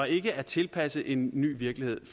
ikke er tilpasset en ny virkelighed